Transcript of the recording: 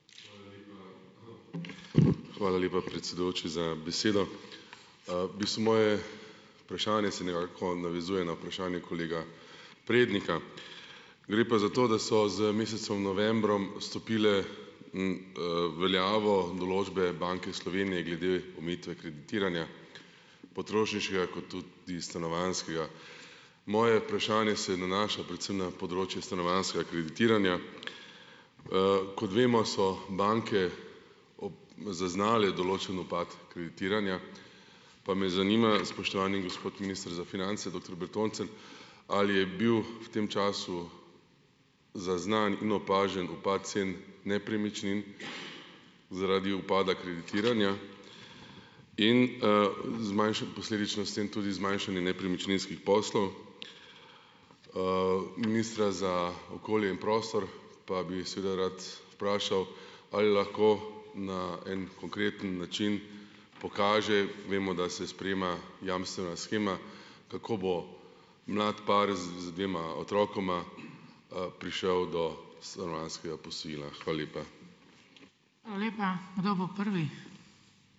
Hvala lepa, predsedujoči, za besedo. v bistvu moje vprašanje se nekako navezuje na vprašanje kolega Prednika. Gre pa za to, da so z mesecem novembrom stopile, veljavo določbe Banke Slovenije glede omejitve kreditiranja, potrošniškega kot tudi stanovanjskega. Moje vprašanje se nanaša predvsem na področje stanovanjskega kreditiranja. Kot vemo, so banke zaznale določen upad kreditiranja, pa me zanima, spoštovani gospod minister za finance, doktor Bertoncelj, ali je bil v tem času zaznan in opažen upad cen nepremičnin zaradi upada kreditiranja in, posledično s tem tudi zmanjšanje nepremičninskih poslov? Ministra za okolje in prostor pa bi seveda rad vprašal, ali lahko na en konkreten način pokaže, vemo, da se sprejema jamstvena shema, kako bo mlad par z z dvema otrokoma, prišel do stanovanjskega posojila. Hvala lepa.